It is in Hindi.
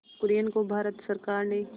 कुरियन को भारत सरकार ने